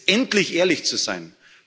vorhin diskutiert haben,